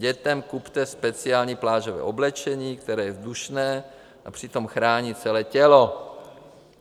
Dětem kupte speciální plážové oblečení, které je vzdušné a přitom chrání celé tělo.